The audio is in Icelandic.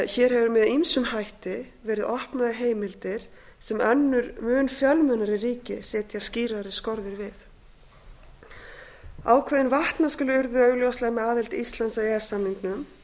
hér hefur með ýmsum hætti verið opnað á heimildir sem önnur mun fjölmennari ríki setja skýrari skorður við ákveðin vatnaskil urðu augljóslega með aðild íslands að e e s samningnum